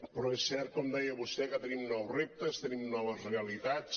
però és cert com deia vostè que tenim nous reptes tenim noves realitats